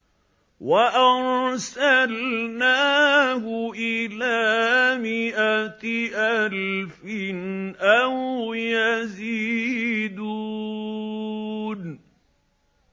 وَأَرْسَلْنَاهُ إِلَىٰ مِائَةِ أَلْفٍ أَوْ يَزِيدُونَ